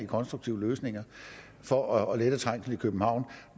konstruktive løsninger for at lette trængslen i københavn